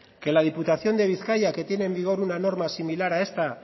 que la diputación de bizkaia que tiene en vigor una normal similar a esta